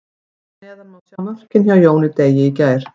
Hér að neðan má sjá mörkin hjá Jóni Degi í gær.